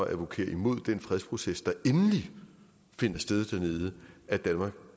advokere imod den fredsproces der endelig finder sted dernede at danmark